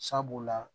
Sabula